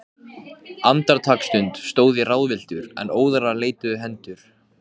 Ég hafði stigið ofan í hundaskít.